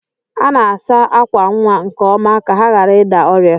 A na-asa ákwà nwa nke ọma ka ha ghara ịda ọrịa.